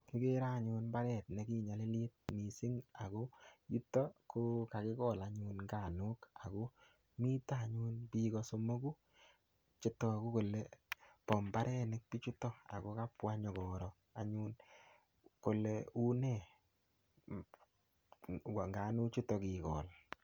Igere anyun imbaret ne kinyalilit mising ago yuto ko kagigol anyun nganuk ago mito biik o somogu che tagu kole bo mbarenik bichuto ago kabwa konyokoro anyun kole uu ne in nganuk chuto kigol.